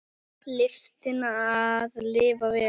Listina að lifa vel.